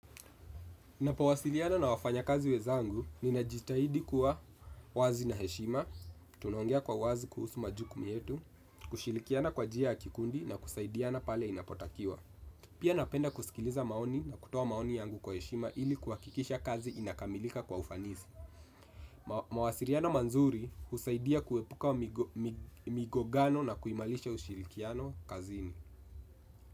Ninapowasiliana na wafanyakazi wezangu, ninajitahidi kuwa wazi na heshima, tunaongea kwa uwazi kuhusu majukumu yetu, kushirikiana kwa njia ya kikundi na kusaidiana pale inapotakiwa. Pia napenda kusikiliza maoni na kutuoa maoni yangu kwa heshima ili kuhakikisha kazi inakamilika kwa ufanisi. Mawasiliano mazuri husaidia kuepuka migongano na kuimarisha ushilikiano kazini.